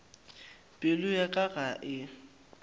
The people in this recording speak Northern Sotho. pelo ya ka ga e